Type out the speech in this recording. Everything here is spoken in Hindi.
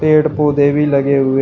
पेड़ पौधे भी लगे हुए--